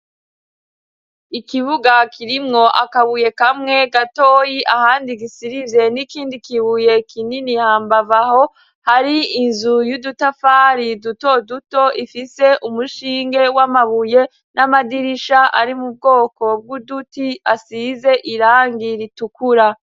Ikibuga kirimwo akabuye kamwe gatoyi ahandi gisirize n'ikindi kibuye kinini hambavu aho hari inzu y'udutafari duto duto ifise umushinge w'amabuye n'amadirisha ari mu bwoko bw'uduti asize irangi ritukura.